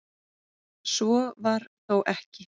Svo var þó ekki.